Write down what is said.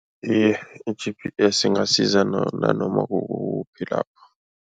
Iye, i-G_P_S ingasiza nanoma kukuphi lapho.